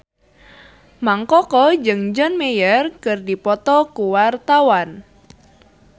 Mang Koko jeung John Mayer keur dipoto ku wartawan